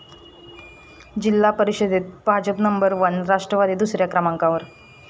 जिल्हा परिषदेत भाजपच नंबर वन, राष्ट्रवादी दुसऱ्या क्रमांकावर